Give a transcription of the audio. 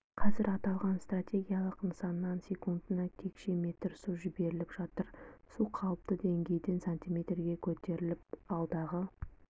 қазір аталған стратегиялық нысаннан секундына текше метр су жіберіліп жатыр су қалыпты деңгейден сантиметрге көтерілген алдағы